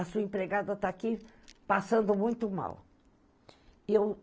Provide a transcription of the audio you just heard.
A sua empregada está aqui passando muito mal.